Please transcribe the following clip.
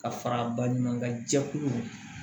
Ka fara a baɲumankɛ jɛkulu